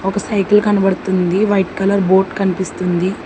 ఒక సైకిల్ కనబడుతుంది white colour board కనిపిస్తుంది.